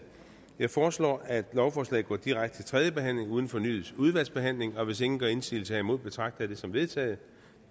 jeg foreslår at lovforslaget går direkte til tredje behandling uden fornyet udvalgsbehandling hvis ingen gør indsigelse herimod betragter jeg det som vedtaget